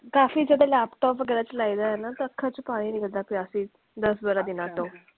ਕਾਫੀ ਜਦੋਂ laptop ਵਗੈਰਾ ਚਲਾਇਦਾ ਹੈ ਨਾ ਤੇ ਅੱਖਾਂ ਚੋਣ ਪਾਣੀ ਨਿਕਲਦਾ ਪੀ ਸੀ, ਦੱਸ ਬਾਰਾਂ ਦੀਨਾ ਤੋਂ।